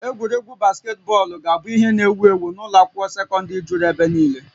Egwuregwu basketbọọlụ ga-abụ ihe n'ewu ewu n'ụlọ akwụkwọ sekọndrị juru ebe niile